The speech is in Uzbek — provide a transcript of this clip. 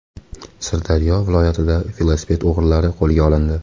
Sirdaryo viloyatida velosiped o‘g‘rilari qo‘lga olindi.